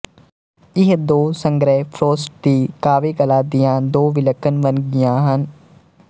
ਇਹ ਦੋ ਸੰਗ੍ਰਹਿ ਫ਼ਰੌਸਟ ਦੀ ਕਾਵਿਕਲਾ ਦੀਆਂ ਦੋ ਵਿਲੱਖਣ ਵੰਨਗੀਆਂ ਹਨ